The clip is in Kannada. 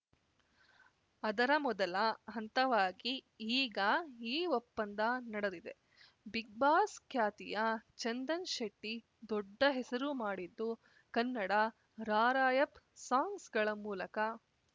ಅದರ ಮೊದಲ ಹಂತವಾಗಿ ಈಗ ಈ ಒಪ್ಪಂದ ನಡೆದಿದೆ ಬಿಗ್‌ಬಾಸ್‌ ಖ್ಯಾತಿಯ ಚಂದನ್‌ ಶೆಟ್ಟಿದೊಡ್ಡ ಹೆಸರು ಮಾಡಿದ್ದು ಕನ್ನಡ ರಾರ‍ಯಪ್‌ ಸಾಂಗ್ಸ್‌ಗಳ ಮೂಲಕ